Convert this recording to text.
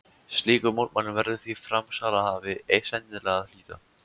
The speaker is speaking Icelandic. Slíkum mótmælum verður því framsalshafi sennilega að hlíta.